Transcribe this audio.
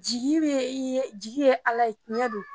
Jigi bɛ jigi ye Ala ye tiɲɛ don